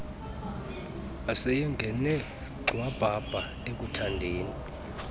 wayesengene gxwabhabha ekuthandeni